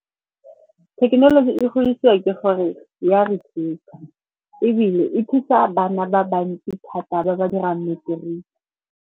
Thekenoloji e godisiwa ke gore ya re thusa, ebile e thusa bana ba bantsi thata ba ba dirang matric-e.